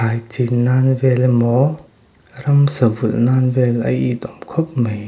ai chin nan vel emaw ramsa vulh nan vel a itawm khawp mai.